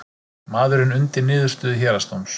Maðurinn undi niðurstöðu héraðsdóms